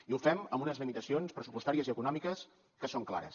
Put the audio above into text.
i ho fem amb unes limitacions pressupostàries i econòmiques que són clares